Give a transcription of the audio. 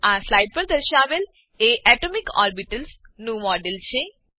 આ સ્લાઈડ પર દર્શાવેલ એ એટોમિક ઓર્બિટલ્સ નું મોડેલ છે